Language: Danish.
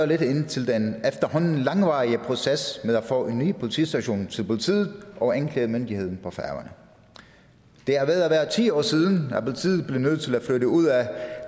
lidt ind til den efterhånden langvarige proces med at få en ny politistation til politiet og anklagemyndigheden på færøerne det er ved at være ti år siden at politiet blev nødt til at flytte ud af